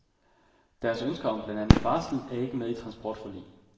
Deres ønsker om blandt andet barsel er ikke med i transportforlig.